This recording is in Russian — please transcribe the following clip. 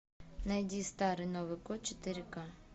найди старый новый год четыре ка